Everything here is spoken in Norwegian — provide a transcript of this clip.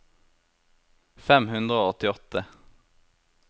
fem hundre og åttiåtte